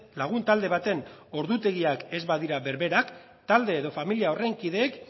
lagun talde baten ordutegiak ez badira berberak talde edo familia horren kideek